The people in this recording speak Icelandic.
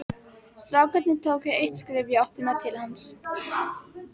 Strákarnir tóku eitt skref í áttina til hans.